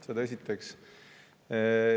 Seda esiteks.